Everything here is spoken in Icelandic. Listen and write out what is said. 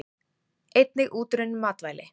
Einnig útrunnin matvæli.